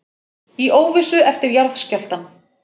Í óvissu eftir jarðskjálftann